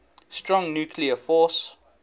strong nuclear force